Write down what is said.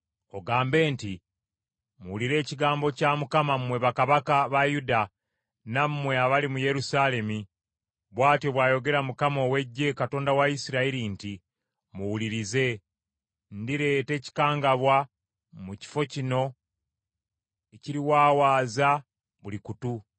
Ogambe nti, ‘Muwulire ekigambo kya Mukama mmwe bakabaka ba Yuda nammwe abali mu Yerusaalemi, bw’atyo bw’ayogera Mukama ow’Eggye, Katonda wa Isirayiri nti, Muwulirize! Ndireeta ekikangabwa mu kifo kino ekiriwaawaaza buli kutu.